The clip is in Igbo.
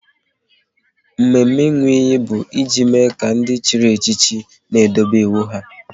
Mme mme ịnwụ iyi bụ e ji mme ka ndị chịrị echichi n'edobe iwu ha